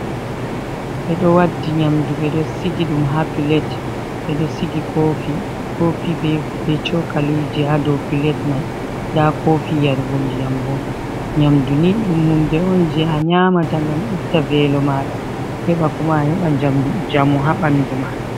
Bedo waddi nyamdu bedo sigi dum ha pilet bedo sigi kofi be cokaliji ha do pilet mai da kofi yargo ndiyam bo. Nyamdu ni dum hunde on je a nyamata ngam itta velo mada heba koma a heba jamu habandu ma.